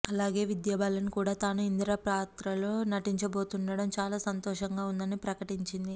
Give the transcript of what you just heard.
అలాగే విద్యాబాలన్ కూడా తాను ఇందిర పాత్రలో నటించబోతుండటం చాలా సంతోషంగా ఉందని ప్రకటించింది